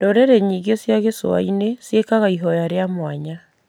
Ndũrĩrĩ nyingĩ cia gĩcũa-inĩ ciekaga ihoya rĩa mwanya